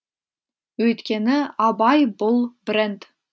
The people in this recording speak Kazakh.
өйткені абай бұл бренд